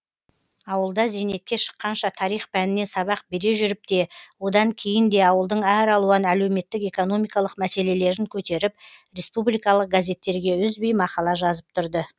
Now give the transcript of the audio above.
ауылда зейнетке шыққанша тарих пәнінен сабақ бере жүріп те одан кейін де ауылдың әралуан әлеуметтік экономикалық мәселелерін көтеріп республикалық газеттерге үзбей мақала жазып тұрды